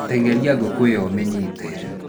Tenyeria ngũkũ ĩyo ũmĩnyite